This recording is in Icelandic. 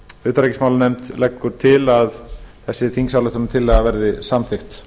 utanríkismálanefnd leggur til að þessi þingsályktuanrtillaga verði samþykkt